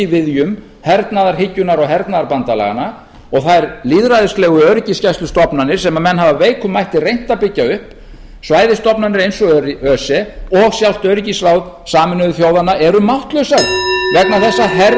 viðjum hernaðarhyggjunnar og hernaðarbandalaganna og þær lýðræðislegu öryggisgæslustofnanir sem menn hafa af veikum mætti reynt að byggja upp svæðisstofnanir eins og öse og sjálft öryggisráð sameinuðu þjóðanna eru máttlausar vegna þess að herveldin